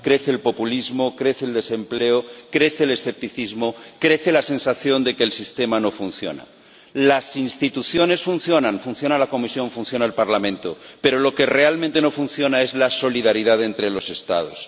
Crece el populismo, crece el desempleo, crece el escepticismo, crece la sensación de que el sistema no funciona. Las instituciones funcionan. Funciona la Comisión, funciona el Parlamento, pero lo que realmente no funciona es la solidaridad entre los Estados.